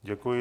Děkuji.